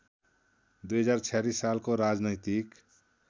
२०४६ सालको राजनैतिक